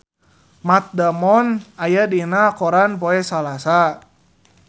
Matt Damon aya dina koran poe Salasa